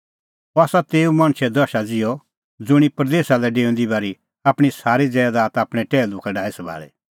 अह आसा तेऊ मणछे दशा ज़िहअ ज़ुंणी परदेसा लै डेऊंदी बारी आपणीं सारी ज़ैदात आपणैं टैहलू का डाही सभाल़ी